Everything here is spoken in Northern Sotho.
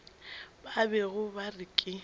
ba bego ba re ke